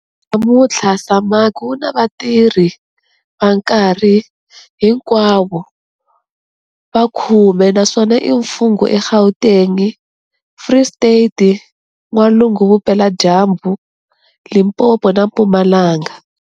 Namuntlha, SAMAG wu na vatirhi va nkarhi hinkwawo va 10 naswona i mfungho eGauteng, Free State, N'walungu-Vupeladyambu, Limpopo na Mpumalanga.